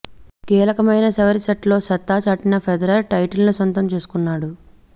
కీలకమైన చివరి సెట్లో సత్తా చాటిన ఫెదరర్ టైటిల్ను సొంతం చేసుకున్నాడు